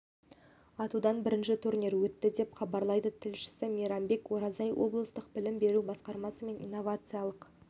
атудан бірінші турнир өтті деп хабарлайды тілшісі мейрамбек оразай облыстық білім беру басқармасы мен инновациялық